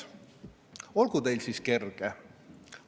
Olgu teil siis kerge!